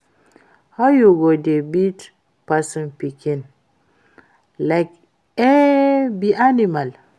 How you go dey beat person pikin like e be animal?